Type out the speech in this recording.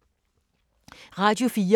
Radio 4